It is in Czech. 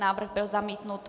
Návrh byl zamítnut.